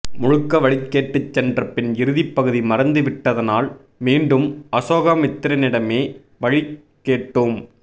முழுக்க வழி கேட்டு சென்றபின் இறுதிப்பகுதி மறந்துவிட்டதனால் மீண்டும் அசோகமித்திரனிடமே வழி கேட்டோம்